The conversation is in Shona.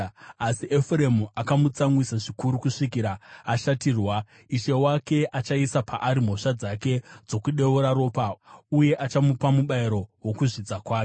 Asi Efuremu akamutsamwisa zvikuru kusvikira ashatirwa; Ishe wake achaisa paari mhosva dzake dzokudeura ropa uye achamupa mubayiro wokuzvidza kwake.